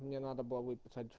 мне надо было